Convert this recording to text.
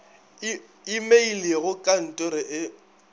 imeile go ka ntoro e